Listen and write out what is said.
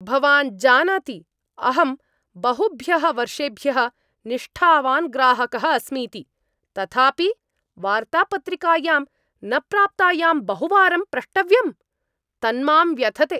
भवान् जानाति अहं बहुभ्यः वर्षेभ्यः निष्ठावान् ग्राहकः अस्मीति, तथापि वार्तापत्रिकायां न प्राप्तायां बहुवारं प्रष्टव्यम्। तन्मां व्यथते।